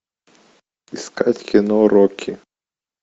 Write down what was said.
искать кино рокки